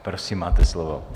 Prosím, máte slovo.